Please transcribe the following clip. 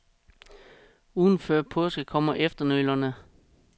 Ugen før påske kom efternølerne.